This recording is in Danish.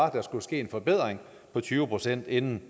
at der skal ske en forbedring på tyve procent inden